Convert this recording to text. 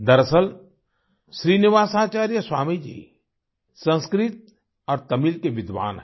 दरअसल श्रीनिवासाचार्य स्वामी जी संस्कृत और तमिल के विद्वान हैं